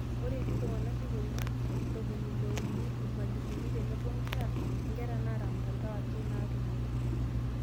Ore etii iltung'anak ipong'uan, ntominiile ouni, irmalimuni tenebo nkera, nkera naata mtandao ake naatumoki